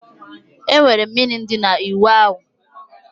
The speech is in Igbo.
Enwere mmiri dị na ịwụ ahụ